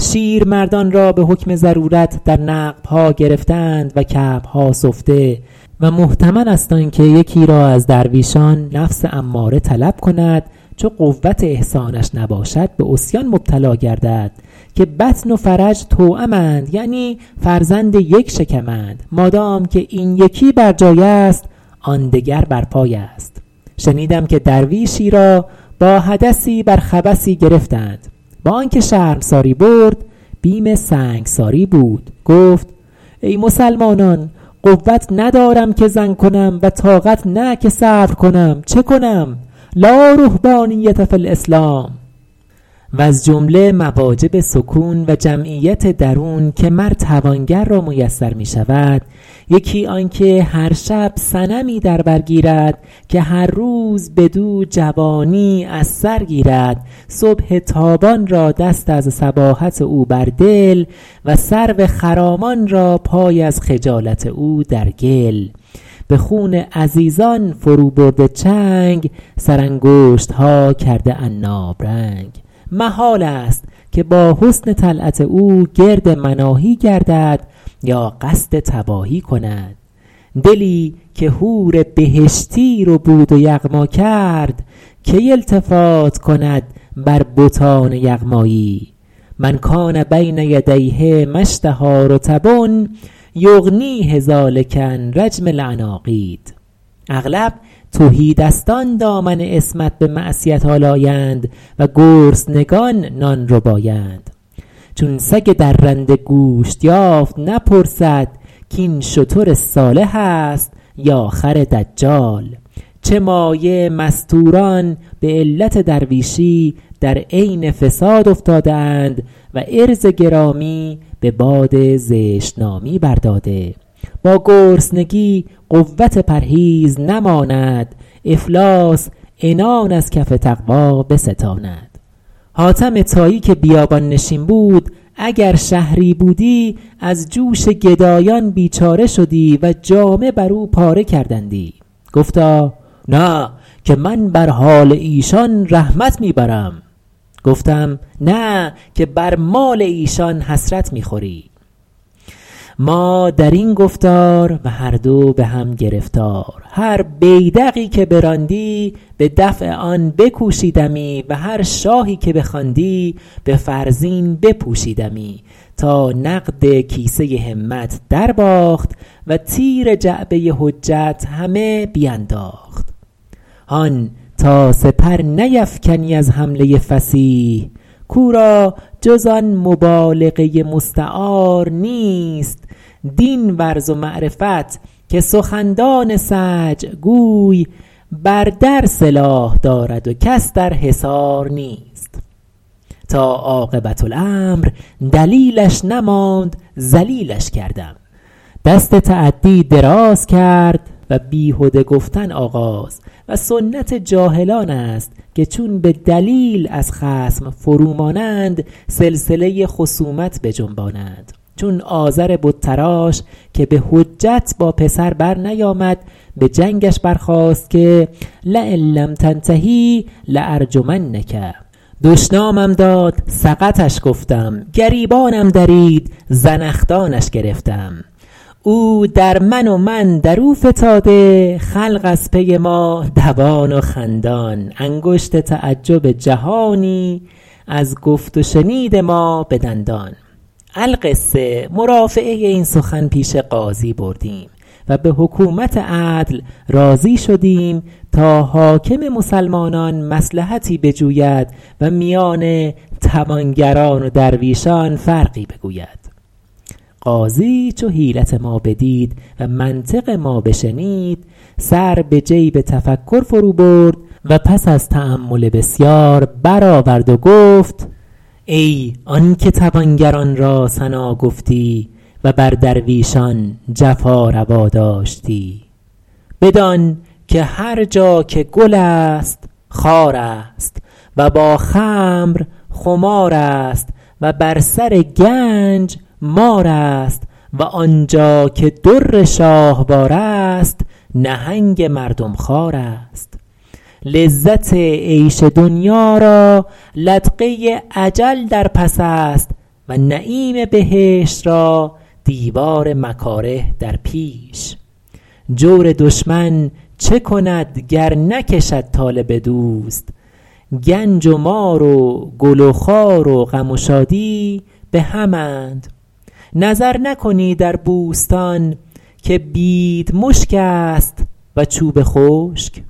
شیرمردان را به حکم ضرورت در نقب ها گرفته اند و کعب ها سفته و محتمل است آن که یکی را از درویشان نفس اماره طلب کند چو قوت احصانش نباشد به عصیان مبتلا گردد که بطن و فرج توأمند یعنی فرزند یک شکم اند مادام که این یکی برجای است آن دگر بر پای است شنیدم که درویشی را با حدثی بر خبثی گرفتند با آن که شرمساری برد بیم سنگساری بود گفت ای مسلمانان قوت ندارم که زن کنم و طاقت نه که صبر کنم چه کنم لا رهبانیة فی الاسلام وز جمله مواجب سکون و جمعیت درون که مر توانگر را میسر می شود یکی آن که هر شب صنمی در بر گیرد که هر روز بدو جوانی از سر گیرد صبح تابان را دست از صباحت او بر دل و سرو خرامان را پای از خجالت او در گل به خون عزیزان فرو برده چنگ سر انگشت ها کرده عناب رنگ محال است که با حسن طلعت او گرد مناهی گردد یا قصد تباهی کند دلی که حور بهشتی ربود و یغما کرد کی التفات کند بر بتان یغمایی من کان بین یدیه ما اشتهیٰ رطب یغنیه ذٰلک عن رجم العناقید اغلب تهی دستان دامن عصمت به معصیت آلایند و گرسنگان نان ربایند چون سگ درنده گوشت یافت نپرسد کاین شتر صالح است یا خر دجال چه مایه مستوران به علت درویشی در عین فساد افتاده اند و عرض گرامی به باد زشت نامی بر داده با گرسنگی قوت پرهیز نماند افلاس عنان از کف تقوی بستاند حاتم طایی که بیابان نشین بود اگر شهری بودی از جوش گدایان بیچاره شدی و جامه بر او پاره کردندی گفتا نه که من بر حال ایشان رحمت می برم گفتم نه که بر مال ایشان حسرت می خوری ما در این گفتار و هر دو به هم گرفتار هر بیدقی که براندی به دفع آن بکوشیدمی و هر شاهی که بخواندی به فرزین بپوشیدمی تا نقد کیسه همت درباخت و تیر جعبه حجت همه بینداخت هان تا سپر نیفکنی از حمله فصیح کاو را جز آن مبالغه مستعار نیست دین ورز و معرفت که سخندان سجع گوی بر در سلاح دارد و کس در حصار نیست تا عاقبت الامر دلیلش نماند ذلیلش کردم دست تعدی دراز کرد و بیهده گفتن آغاز و سنت جاهلان است که چون به دلیل از خصم فرو مانند سلسله خصومت بجنبانند چون آزر بت تراش که به حجت با پسر برنیامد به جنگش برخاست که لین لم تنته لارجمنک دشنامم داد سقطش گفتم گریبانم درید زنخدانش گرفتم او در من و من در او فتاده خلق از پی ما دوان و خندان انگشت تعجب جهانی از گفت و شنید ما به دندان القصه مرافعه این سخن پیش قاضی بردیم و به حکومت عدل راضی شدیم تا حاکم مسلمانان مصلحتی بجوید و میان توانگران و درویشان فرقی بگوید قاضی چو حیلت ما بدید و منطق ما بشنید سر به جیب تفکر فرو برد و پس از تأمل بسیار برآورد و گفت ای آن که توانگران را ثنا گفتی و بر درویشان جفا روا داشتی بدان که هر جا که گل است خار است و با خمر خمار است و بر سر گنج مار است و آنجا که در شاهوار است نهنگ مردم خوار است لذت عیش دنیا را لدغه اجل در پس است و نعیم بهشت را دیوار مکاره در پیش جور دشمن چه کند گر نکشد طالب دوست گنج و مار و گل و خار و غم و شادی به هم اند نظر نکنی در بوستان که بیدمشک است و چوب خشک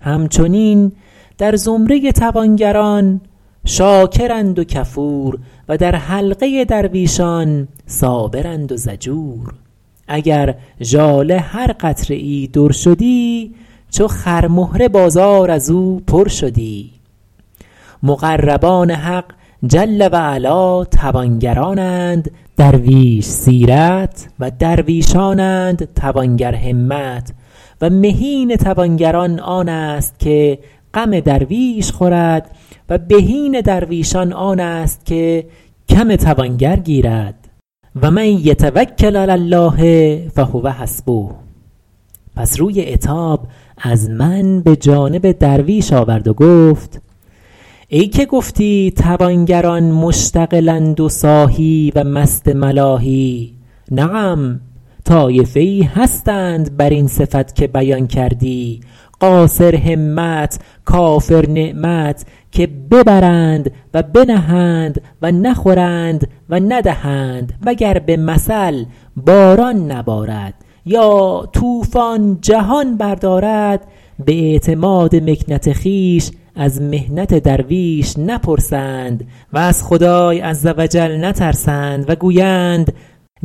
همچنین در زمره توانگران شاکرند و کفور و در حلقه درویشان صابرند و ضجور اگر ژاله هر قطره ای در شدی چو خرمهره بازار از او پر شدی مقربان حق جل و علا توانگران اند درویش سیرت و درویشان اند توانگرهمت و مهین توانگران آن است که غم درویش خورد و بهین درویشان آن است که کم توانگر گیرد و من یتوکل علی الله فهو حسبه پس روی عتاب از من به جانب درویش آورد و گفت ای که گفتی توانگران مشتغل اند و ساهی و مست ملاهی نعم طایفه ای هستند بر این صفت که بیان کردی قاصرهمت کافرنعمت که ببرند و بنهند و نخورند و ندهند وگر به مثل باران نبارد یا طوفان جهان بردارد به اعتماد مکنت خویش از محنت درویش نپرسند و از خدای عزوجل نترسند و گویند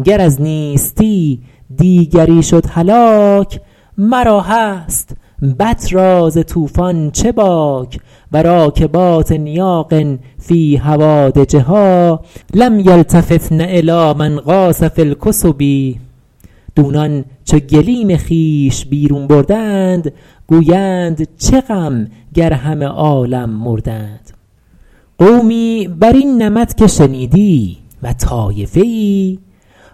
گر از نیستی دیگری شد هلاک مرا هست بط را ز طوفان چه باک و راکبات نیاق فی هوادجها لم یلتفتن الی من غاص فی الکثب دونان چو گلیم خویش بیرون بردند گویند چه غم گر همه عالم مردند قومی بر این نمط که شنیدی و طایفه ای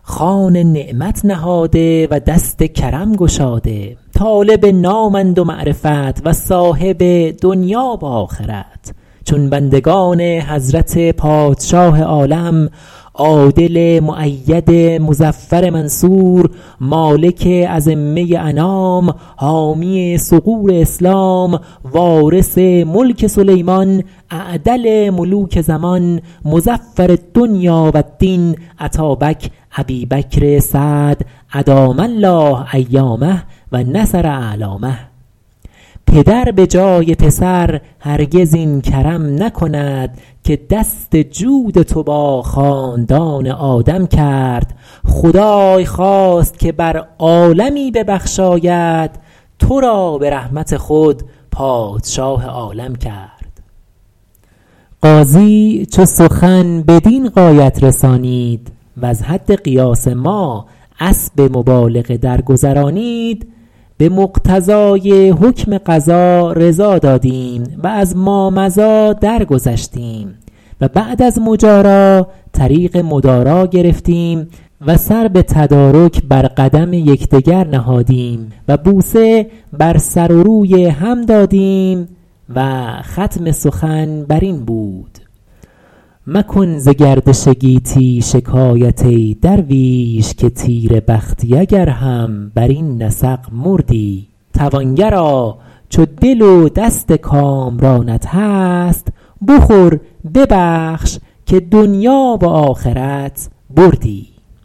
خوان نعمت نهاده و دست کرم گشاده طالب نام اند و معرفت و صاحب دنیا و آخرت چون بندگان حضرت پادشاه عالم عادل مؤید مظفر منصور مالک ازمه انام حامی ثغور اسلام وارث ملک سلیمان اعدل ملوک زمان مظفر الدنیا و الدین اتابک ابی بکر سعد ادام الله ایامه و نصر اعلامه پدر به جای پسر هرگز این کرم نکند که دست جود تو با خاندان آدم کرد خدای خواست که بر عالمی ببخشاید تو را به رحمت خود پادشاه عالم کرد قاضی چو سخن بدین غایت رسانید وز حد قیاس ما اسب مبالغه درگذرانید به مقتضای حکم قضا رضا دادیم و از مامضی درگذشتیم و بعد از مجارا طریق مدارا گرفتیم و سر به تدارک بر قدم یکدگر نهادیم و بوسه بر سر و روی هم دادیم و ختم سخن بر این بود مکن ز گردش گیتی شکایت ای درویش که تیره بختی اگر هم بر این نسق مردی توانگرا چو دل و دست کامرانت هست بخور ببخش که دنیا و آخرت بردی